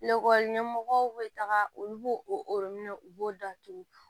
Lakɔli ɲɛmɔgɔw bɛ taga olu b'o orobinɛ u b'o datugu